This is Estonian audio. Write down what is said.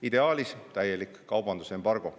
Ideaalis täielik kaubandusembargo.